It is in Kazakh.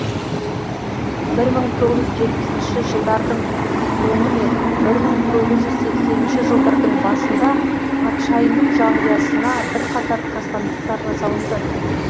бір мың тоғыз жүз жепісінші жылдардың соңы мен бір мың тоғыз жүз сексенінші жылдардың басында патшайымның жанұясына бір қатар қастандықтар жасалынды